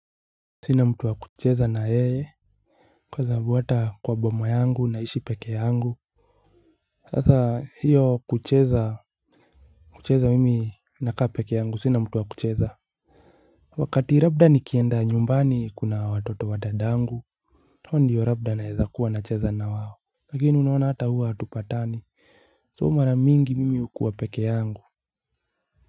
Sina mtu wa kucheza na yeye. Kwa zahabu hata kwa boma yangu naishi peke yangu. Sasa hiyo kucheza kucheza mimi nakaa peke yangu sina mtu wa kucheza. Wakati rabda nikienda nyumbani kuna watoto wa dadangu hoa ndiyo rabda naezakuwa nacheza na wao. Lakini unawona hata huwa atupatani So mara mingi mimi ukua peke yangu.